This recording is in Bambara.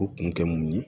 U kun tɛ mun ye